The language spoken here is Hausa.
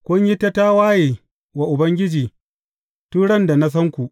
Kun yi ta tawaye wa Ubangiji tun ran da na san ku.